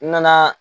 N nana